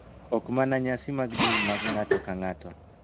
Ok mana nyasi mag din mag ng�ato ka ng�ato .